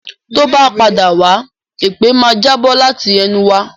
Tó bá padà wá, èpè máa ń jábọ̀ láti ẹnu wa